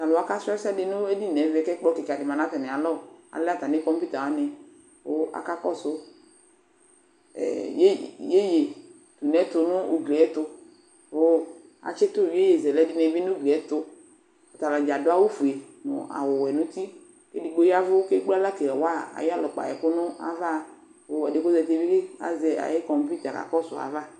T'alʋwa kasʋ ɛsɛ n'edini n'ɛvɛ kʋ , ɛkplɔkɩkadɩ ma n'atamɩalɔ ; alɛ atamɩ kɔmpita wanɩ kʋ aka kɔsʋ ɛɛ ye yeyetunɛtʋ n'ugli y'ɛtʋ Kʋ atsɩtʋ yeyezɛ dɩnɩ bɩ n'ugli y'ɛtʋ Atanɩdza adʋ awʋfue nʋ awʋwɛ nʋ uti ; edigbo yɛvʋ k'ekple aɣla kawa ay'ɩyalɛ ʋkpa ay'ɛkʋ nʋ ava Kʋ edɩɛ k'ozatɩ bɩ azɛ ayʋ kɔmpita yɛ ka kɔsʋ ay'ava